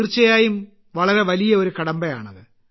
തീർച്ചയായും വളരെ വലിയ ഒരു കടമ്പയാണത്